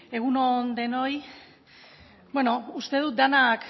egun on denoi bueno uste dut denak